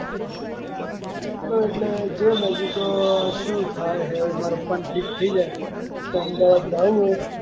એટલે જોને હજુ તો શું થાય હે મારે પપ્પાને ઠીક થઇ જાય તો અમદાવાદ જાવું હે.